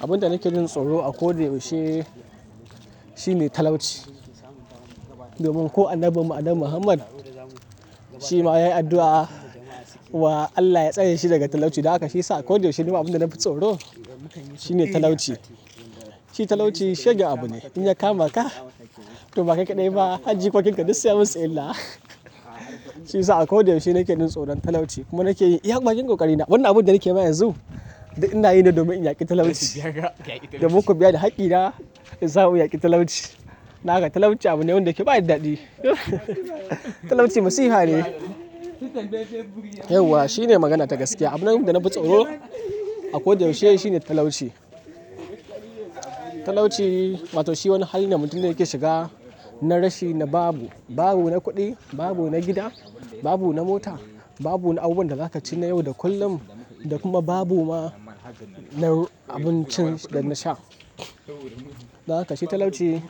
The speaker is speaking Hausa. Abin da nake jin tsoro a ko da yaushe, shine talauci. Domin ko Annabi muhammad shi ma ya yi addu'a wa Allah ya tsaye shi daga talauci. Don haka shiyasa a ko da yaushe, nima abin da nafi tsoro shine talauci. Shi talauci shegen abu ne, in ya kama ka, to bakai kadai ba har jikokinka duk sai ya musu illa. Shi yasa a ko da yaushe nake jin tsoron talauci. Kuma nake yi iya bakin kokarina. Wannan abin da nake ma yanzu, duk ina yin ne domin in yaki talauci. Domin ku biya da hakki na, in samu in yaki talauci. Don haka talauci abu ne wanda yake ba shi da dadi. Talauci masifa ne. Yauwa shine magana ta gaskiya. Abin da nafi tsoro a ko da yaushe shine talauci. Talauci, wato shi wani hali ne mutum yake shiga na rashi, na babu. Babu na kuɗi, babu na gida, babu na mota, babu na abubuwan da zaka ci na yau da kullum da kuma babu ma na abincin da na sha. Dakashi talauci